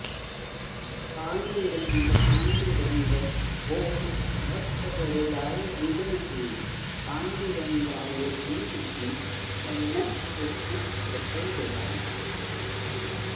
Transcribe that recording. पाण्डुरङ्ग पाण्डुरङ्ग ॐ भक्तवरदाय विद्महे पाण्डुरङ्गाय धीमहि तन्नः कृष्णः प्रचोदयात्